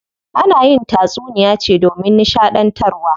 Ana yin tatsuniya ce domin nishaɗantarwa.